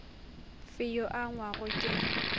fe yo a angwago ke